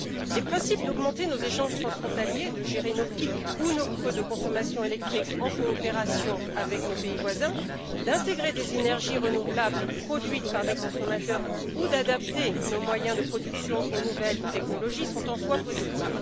Les principes d'augmenter nos échanges transfrontaliers, de gérer nos pics ou nos creux de consommation électrique en coopération avec nos pays voisins, d'intégrer des énergies renouvelables produites par des consommateurs ou d'adapter nos moyens de production aux nouvelles technologies sont, en soi, positifs.